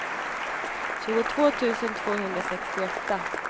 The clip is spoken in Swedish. tjugotvå tusen tvåhundrasextioåtta